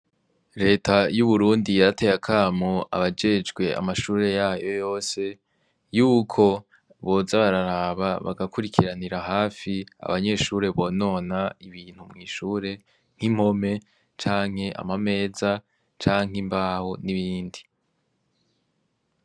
Reta y'Uburundi yarateye akamo abajejwe amashure y'ayo yose, yuko boza bararaba bagakurikiranira hafi abanyeshure bonona ibintu mw'ishure nk'impome canke ama meza canke imbaho n'ibindi.